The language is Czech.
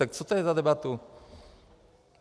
Tak co to je za debatu?